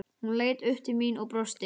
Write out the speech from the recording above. Hún leit upp til mín og brosti.